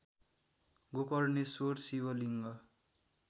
Gokarneshwar Shivling